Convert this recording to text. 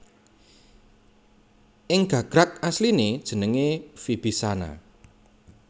Ing gagrag asliné jenengé Vibishana